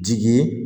Jigi